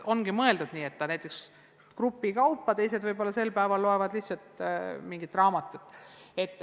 Ongi mõeldud nii, et töötatakse grupikaupa, teised loevad sel päeval võib-olla mingisugust raamatut.